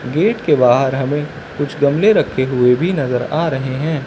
Gate के बाहर हमें कुछ गमले रखे हुए भी नजर आ रहे हैं।